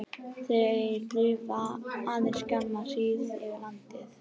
Þeir lifa aðeins skamma hríð yfir landi.